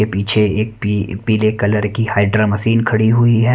ये पीछे एक पी पीले कलर की हाइड्रा मशीन खड़ी हुई है।